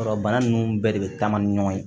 Yɔrɔ bana ninnu bɛɛ de bɛ taama ni ɲɔgɔn ye